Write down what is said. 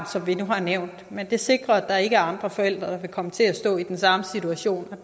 som vi nu har nævnt men det sikrer at der ikke er andre forældre der kan komme til at stå i den samme situation